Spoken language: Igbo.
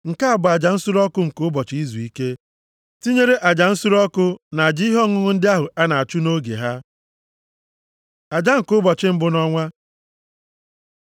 Nke a bụ aja nsure ọkụ nke Ụbọchị Izuike, tinyere aja nsure ọkụ na aja ihe ọṅụṅụ ndị ahụ a na-achụ nʼoge ha. Aja nke ụbọchị mbụ nʼọnwa